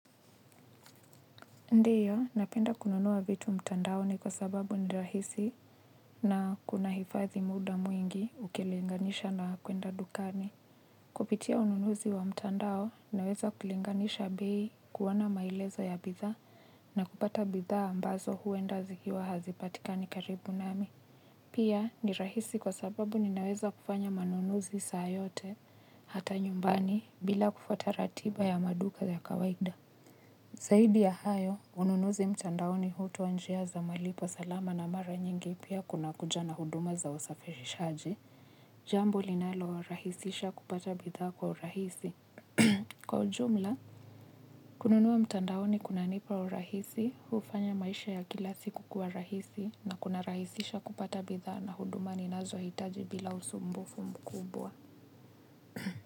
Ndio, napenda kununua vitu mtandaoni kwa sababu ni rahisi na kunahifadhi muda mwingi ukilinganisha na kwenda dukani. Kupitia ununuzi wa mtandao, naweza kulinganisha bei kuona maelezo ya bidhaa na kupata bidhaa ambazo huenda zikiwa hazipatikani karibu nami. Pia, ni rahisi kwa sababu ninaweza kufanya manunuzi saa yote hata nyumbani bila kufata ratiba ya maduka ya kawaida. Zaidi ya hayo, ununuzi mtandaoni hutoa njia za malipo salama na mara nyingi pia kuna kuja na huduma za wasafirishaji. Jambu linalorahisisha kupata bidhaa kwa urahisi. Kwa ujumla, kununua mtandaoni kunanipa urahisi, hufanya maisha ya kila siku kuwa rahisi na kunarahisisha kupata bidhaa na huduma ninazohitaji bila usumbufu mkubwa.